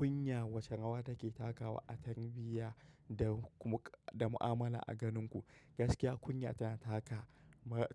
Kunya wace rawa take takawa a tarbiyya da kuma da mu'amala a ganin ku? Gaskiya kunya tana taka,